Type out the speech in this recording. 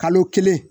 Kalo kelen